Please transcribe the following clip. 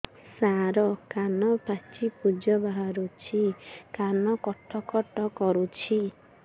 ସାର କାନ ପାଚି ପୂଜ ବାହାରୁଛି କାନ କଟ କଟ କରୁଛି